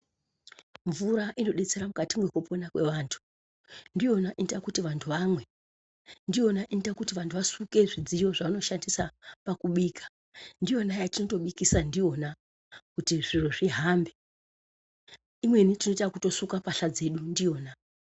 Mvura inobetsera mukati mwekupona kwevantu. Ndiyona inoita kuti vantu vamwe. Ndiyona inoita kuti vantu vasuke zvidziyo zvavanoshandisa pakubika. Ndiyona yatinotobikisa ndiyona, kuti zviro zvihambe. Imweni tine takutosuka mbahla dzedu ndiyona.